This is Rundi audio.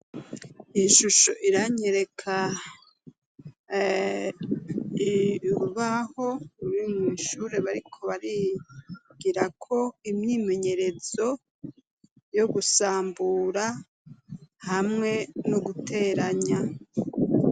Ishusho iranyereka urubaho ruri mw'ishure bariko barigirako imyimenyerezo yo gusambura hamwe no guteranya.